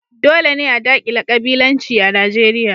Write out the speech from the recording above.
Dole ne a dakile kabilanci a Najeriya.